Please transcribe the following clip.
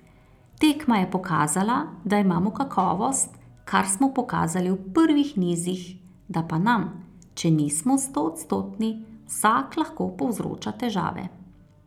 Tekma je pokazala, da imamo kakovost, kar smo pokazali v prvih nizih, da pa nam, če nismo stoodstotni, vsak lahko povzroča težave.